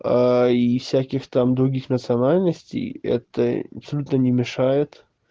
и всяких там других национальностей это абсолютно не мешает